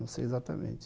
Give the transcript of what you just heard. Não sei exatamente.